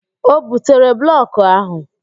O butere blọkụ ahụ?